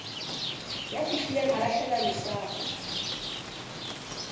ya fihlileng a lahlela lesapo